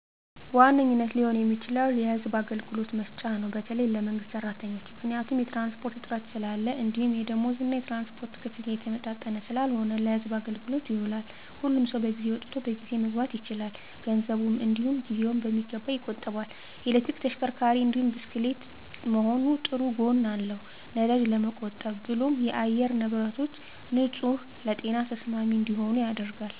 በዋነኝነት ሊሆን የሚችለው ለህዝብ አገልግሎት መስጫ ነው በተለይ ለመንግስት ሰራተኞች። ምክንያቱም የትራንስፖርት እጥረት ስላለ እንዲሁም የደምወዝ እና የትራንስፖርት ክፍያ የተመጣጠነ ስላልሆነ ለህዝብ አገልግሎት ይውላል። ሁሉም ሰው በጊዜ ወጥቶ በጊዜ መግባት ይችላል፣ ገንዘቡን እንዲውም ጊዜውን በሚገባ ይቆጥባል። የኤሌክትሪክ ተሽከርካሪ እንዲሁም ብስክሌት መሆኑ ጥሩ ጎን አለው ነዳጅ ለመቆብ ብሎም የአየር ንብረቶች ንፁህ ለጤና ተስማሚ እንዲሆኑ ያደርጋል።